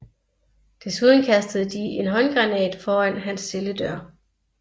Desuden kastede de en håndgranat foran hans celledør